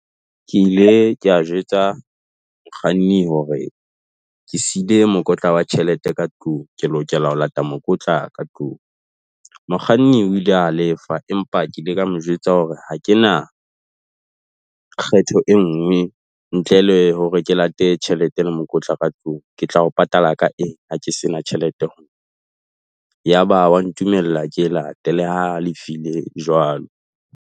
Ke ile kea jwetsa mokganni hore ke siile mokotla wa tjhelete ka tlung, ke lokela ho lata mokotla ka tlung. Mokganni o ile a lefa, empa ke ile ka mo jwetsa hore ha ke na kgetho e nngwe ntle le hore ke late tjhelete le mokotla ka tlung. Ke tla o patala ka eng ha ke sena tjhelete ho nna? Ya ba wa ntumella ke e late le ha a halefile jwalo.